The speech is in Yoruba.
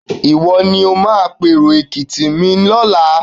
Ìwọ ni ó máa pèrò Èkìtì mi lọ́la.